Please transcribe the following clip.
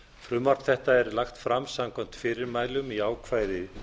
frumvarp þetta er lagt fram samkvæmt fyrirmælum í ákvæði